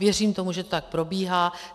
Věřím tomu, že to tak probíhá.